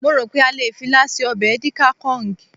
mo ro pe a le fi ila se obe edikaikong